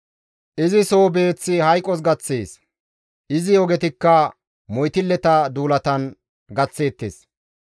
Izi soo beeththi hayqos gaththees; izi ogetikka moytilleta duulatan gaththeettes.